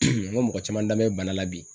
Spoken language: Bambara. ŋo mɔgɔ caman danbɛ bana la bi